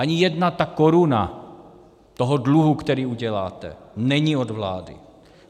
Ani jedna ta koruna toho dluhu, který uděláte, není od vlády.